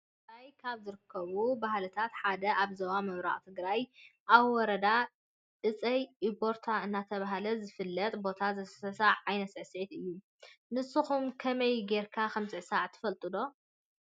አብ ትግራይ ካብ ዝርከቡ ባህልታት ሓደ አብ ዞባ ምብራቅ ትግራይ አብ ወረዳ አፀይ እቦርታ እናተባሀለ ዝፍለጥ ቦታ ዝስዕስዕዎ ዓይነት ስዕሲዒት እዩ። ንስኩም ከመይ ገይርካ ከም ዝስዕሳዕ ትፈልጥዎ ዶ?